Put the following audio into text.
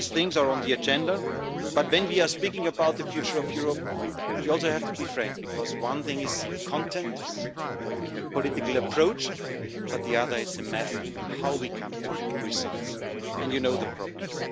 All these things are on the agenda, but when we are speaking about the future of Europe you also have to be frank, because one thing is the content, the political approach, but the other is the method how we come to results, and you know the problems.